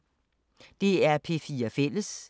DR P4 Fælles